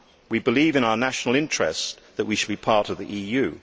We believe in our national interests that we should be part of the EU.